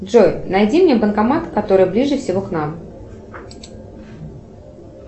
джой найди мне банкомат который ближе всего к нам